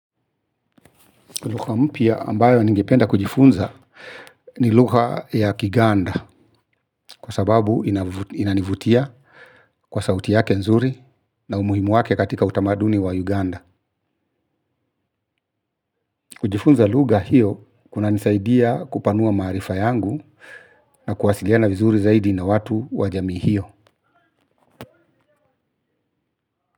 Lugha mpya ambayo ningependa kujifunza ni lugha ya Kiganda kwa sababu inanivutia kwa sauti yake nzuri na umuhimu wake katika utamaduni wa Uganda. Kujifunza lugha hiyo kunanisaidia kupanua maarifa yangu na kuwasiliana vizuri zaidi na watu wa jamii hiyo.